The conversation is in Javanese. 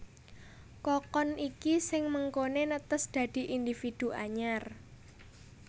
Kokon iki sing mengkoné netes dadi individu anyar